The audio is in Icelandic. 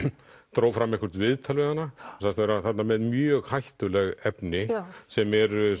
dró fram eitthvert viðtal við hana og sagðist vera þarna með mjög hættuleg efni sem eru